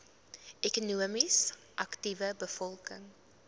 ekonomies aktiewe bevolking